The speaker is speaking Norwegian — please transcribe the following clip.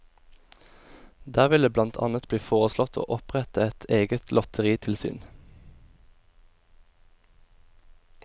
Der vil det blant annet bli foreslått å opprette et egetlotteritilsyn.